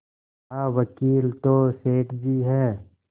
कहावकील तो सेठ जी हैं